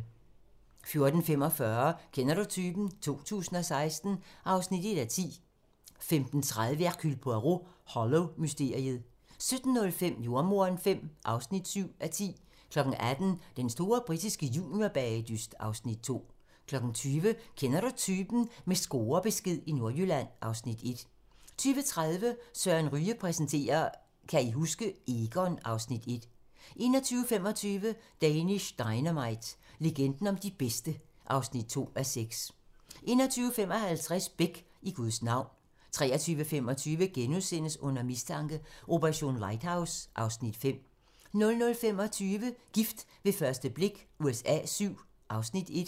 14:45: Kender du typen? 2016 (1:10) 15:30: Hercule Poirot: Hollow-mysteriet 17:05: Jordemoderen V (7:10) 18:00: Den store britiske juniorbagedyst (Afs. 2) 20:00: Kender du typen? - med scorebesked i Nordjylland (Afs. 1) 20:30: Søren Ryge præsenterer: Kan I huske? - Egon (Afs. 1) 21:25: Danish Dynamite - legenden om de bedste (2:6) 21:55: Beck: I Guds navn 23:25: Under mistanke: Operation Lighthouse (Afs. 5)* 00:25: Gift ved første blik USA VII (Afs. 1)